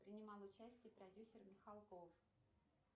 принимал участие продюсер михалков